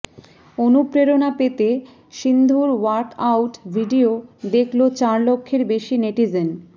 অনুপ্রেরণা পেতে সিন্ধুর ওয়ার্কআউট ভিডিও দেখল চার লক্ষের বেশি নেটিজেন